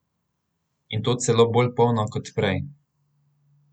In to celo bolj polno kot prej.